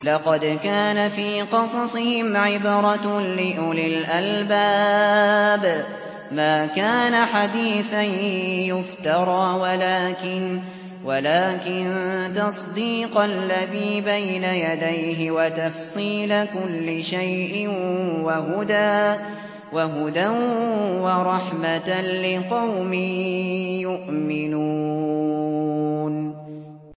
لَقَدْ كَانَ فِي قَصَصِهِمْ عِبْرَةٌ لِّأُولِي الْأَلْبَابِ ۗ مَا كَانَ حَدِيثًا يُفْتَرَىٰ وَلَٰكِن تَصْدِيقَ الَّذِي بَيْنَ يَدَيْهِ وَتَفْصِيلَ كُلِّ شَيْءٍ وَهُدًى وَرَحْمَةً لِّقَوْمٍ يُؤْمِنُونَ